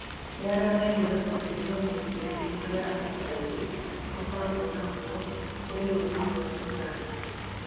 Nĩaragerĩa gũcenjia mwĩcirĩrie ũrĩa akenya aingĩ makoragwo naguo kũrĩ rũrĩrĩ rwa sumarĩ.